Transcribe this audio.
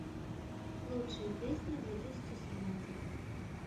лучшие песни две тысячи семнадцать